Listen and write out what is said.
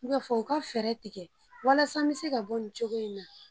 N k'a fɔ u ka fɛɛrɛ tigɛ walasa n bɛ se ka bɔ nin cogo in na